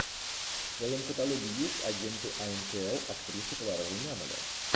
в твоем каталоге есть агенты анкл актрисы клара румянова